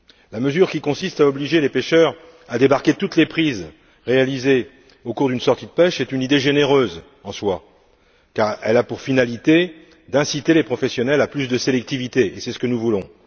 La mesure qui consiste à obliger les pêcheurs à débarquer toutes les prises réalisées au cours d'une sortie de pêche est une idée généreuse, en soi, car elle a pour finalité d'inciter les professionnels à plus de sélectivité, et c'est ce que nous voulons.